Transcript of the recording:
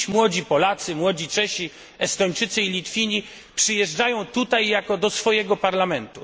Dziś młodzi Polacy, młodzi Czesi, Estończycy i Litwini przyjeżdżają tutaj jako do swojego Parlamentu.